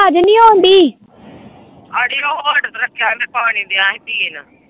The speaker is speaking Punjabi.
ਅੜੀ ਉਹ ਹੋਲਡ ਤੇ ਰੱਖਿਆ ਹੀ ਮੈਂ ਪਾਣੀ ਦਿਆਂ ਹੀ ਪੀਣ।